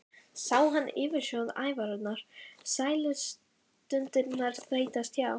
Sá hann yfirsjón ævinnar, sælustundirnar þeytast hjá?